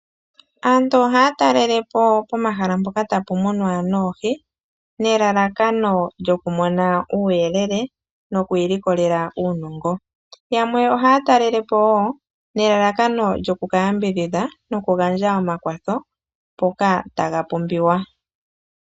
Aantu ohaya talelepo pomahala mpoka tapu munwa oohi nelalakano lyokumona uuyelele nokwiilikolela uunongo. Yamwe ohaya talelepo woo nelalakano lyokukayambidhidha nokugandja omakwatho mpoka taga pumbiwa.